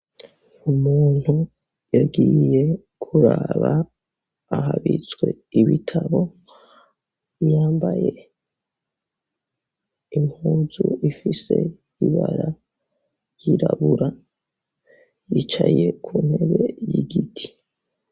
Umuntu yagiye kuraba ahabitswe ibitabo yambaye impuzu ifise ibara ryirabura yicaye ku ntebe y'igiti.